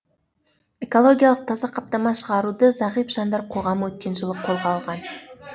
экологиялық таза қаптама шығаруды зағип жандар қоғамы өткен жылы қолға алған